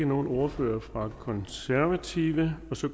nogen ordfører for konservative så